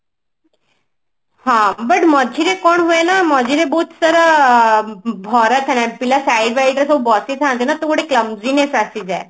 ହଁ but ମଝିରେ କଣ ହୁଏନା ମଝିରେ ବହୁତ ସାରା ଭରା ପିଲା side side ରେ ସବୁ ବସି ଥାନ୍ତି ନା ତ ଗୋଟେ clumsiness ଆସିଯାଏ